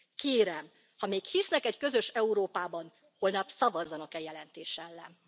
Kérem, ha még hisznek egy közös Európában, holnap szavazzanak e jelentés ellen.